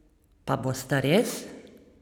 Pa bosta res?